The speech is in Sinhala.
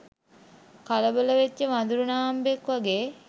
කලබල වෙච්ච වඳුරු නාම්බෙක් වගේ.